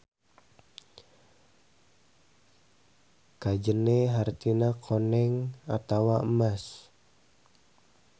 Kajene hartina koneng atawa emas.